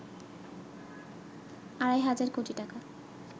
আড়াই হাজার কোটি টাকা